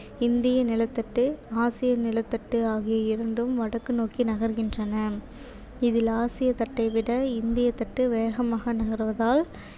இந்திய நிலத்தட்டு ஆசிய நிலத்தட்டு ஆகிய இரண்டும் வடக்கு நோக்கி நகர்கின்றன இதில் ஆசிய தட்டை விட இந்திய தட்டு வேகமாக நகர்வதால்